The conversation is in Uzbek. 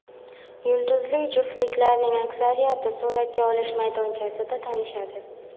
Yulduzli juftliklarning aksariyati suratga olish maydonchasida tanishadi.